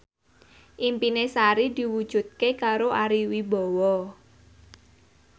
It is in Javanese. impine Sari diwujudke karo Ari Wibowo